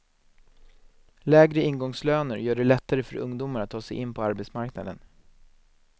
Lägre ingångslöner gör det lättare för ungdomar att ta sig in på arbetsmarknaden.